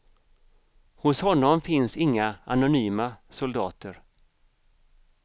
Hos honom finns inga anonyma soldater.